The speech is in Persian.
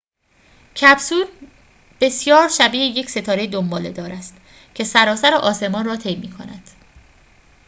کپسول بسیار شبیه یک ستاره دنباله‌دار است که سراسر آسمان را طی می‌کند